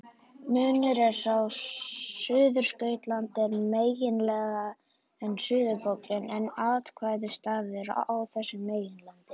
Munurinn er sá að Suðurskautslandið er meginland en suðurpóllinn einn ákveðinn staður á þessu meginlandi.